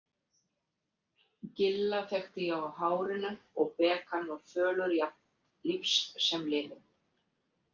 Gilla þekkti ég á hárinu og Bekan var fölur jafnt lífs sem liðinn.